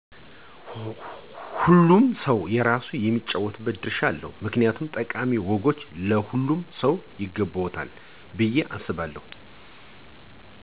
ሆሉም ሰው የራሱ የሚጫወተው ድርሻ አለው ምክንያቱም ጠቃሚ ወጎች ለሆሉም ሰው ይገበዎል ብየ አሰባለው።